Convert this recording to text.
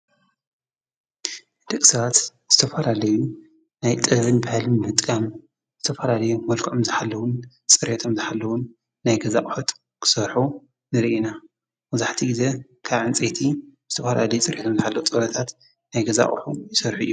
ደግሳት ዝተፋላለዩን ናይ ጥብን ብሃልም ምምጥቃም ዝተፋራሌዩ ወልከኦም ዝኃለውን ጽሬቶም ዝኃለውን ናይ ገዛቕሐጥ ክሠርኁ ንሪኢና ወዙሕቲ ጊዜ ካዓንፀቲ ዝተፍራሌይ ጽርሒቶም ዝኃለዉ ጸውረታት ናይገዛቕሑ ይሠርኁ እዮም።